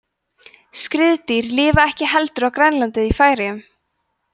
skriðdýr lifa ekki heldur á grænlandi eða í færeyjum